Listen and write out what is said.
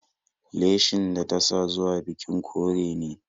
Leshin da ta sa zuwa bikin kore ne